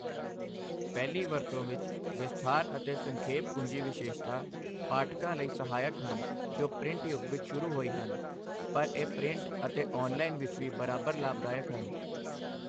ਪਹਿਲੀ ਵਰਤੋਂ ਵਿੱਚ ਵਿਸਥਾਰ ਅਤੇ ਸੰਖੇਪ ਕੁੰਜੀ ਵਿਸ਼ੇਸ਼ਤਾ ਪਾਠਕਾਂ ਲਈ ਸਹਾਇਕ ਹਨ ਜੋ ਪ੍ਰਿੰਟ ਯੁੱਗ ਵਿੱਚ ਸ਼ੁਰੂ ਹੋਈ ਹਨ, ਪਰ ਇਹ ਪ੍ਰਿੰਟ ਅਤੇ ਔਨਲਾਈਨ ਵਿੱਚ ਵੀ ਬਰਾਬਰ ਲਾਭਦਾਇਕ ਹਨ।